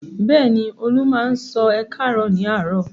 Bẹ́ẹ̀ ni, Olú máa ń sọ "ẹ káàárọ̀" ní àárọ̀.